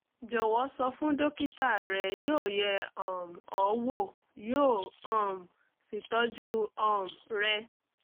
jọ̀wọ́ sọ fún dókítà rẹ̀ yóò yẹ̀ um ọ́ wò yóò um sì tọ́jú um rẹ